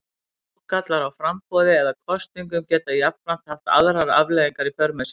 Ágallar á framboði eða kosningum geta jafnframt haft aðrar afleiðingar í för með sér.